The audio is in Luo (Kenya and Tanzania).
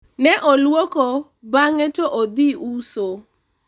ne olwoko bang'e to odhi uso